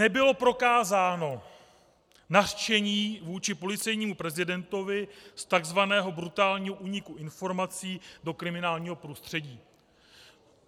Nebylo prokázáno nařčení vůči policejnímu prezidentovi z tzv. brutálního úniku informací do kriminálního prostředí.